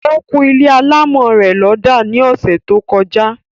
Ó kún ilé alámọ̀ rẹ̀ lọ́dà ní ọsẹ̀ tó kọjá